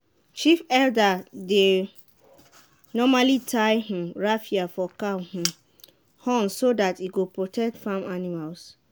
chief elder dey normally tie um raffia for cow um horns so that e go protect the farm animals.